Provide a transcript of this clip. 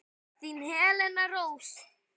Þín Helena Rós.